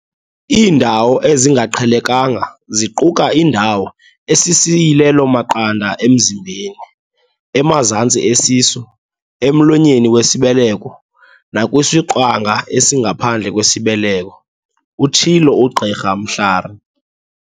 "Iindawo ezingaqhelekanga ziquka indawo esisiyilelo-maqanda emzimbeni, emazantsi esisu, emlonyeni wesibeleko nakwisiqwanga esingaphandle kwesibeleko," utshilo uGqr Mhlari.